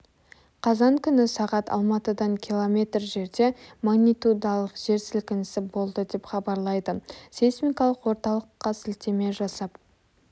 қазан күні сағат алматыдан километр жерде магнитудалық жер сілкінісі болды деп хабарлайды сейсмикалық орталыққа сілтеме жасап